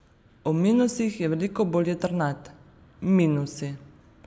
O minusih je veliko bolj jedrnat: "Minusi?